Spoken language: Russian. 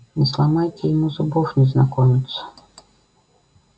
не сломайте ему зубов незнакомец